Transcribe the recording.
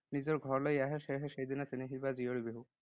নিজৰ ঘৰলৈ আহে। সেয়েহে সেইদিনা চেনেহী বা জীয়ৰী বিহু